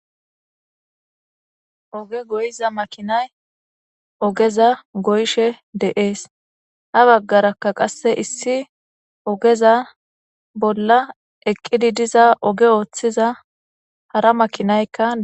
Ooge gooyiza maakinay oogeza gooyishe de'es ha baggarakka qase issi oogeza bolla eeqiddi diza ooge Oththiza hara maakinaykka de'es